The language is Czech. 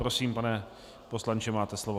Prosím, pane poslanče, máte slovo.